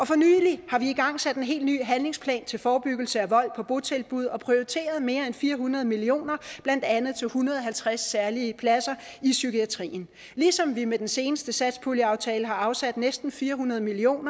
for nylig har vi igangsat en helt ny handlingsplan til forebyggelse af vold på botilbud og prioriteret mere end fire hundrede million kr blandt andet til en hundrede og halvtreds særlige pladser i psykiatrien ligesom vi med den seneste satspuljeaftale har afsat næsten fire hundrede million